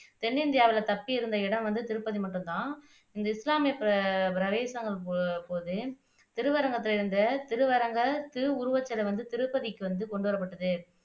தென்னிந்தியாவுல தப்பியிருந்த இடம் வந்து திருப்பதி மட்டுந்தான இந்த இஸ்லாமிய போது திருவரங்கத்துல இருந்த திருவரங்க திருவுருவச்சிலை வந்து திருப்பதிக்கு கொண்டு வரப்பட்டது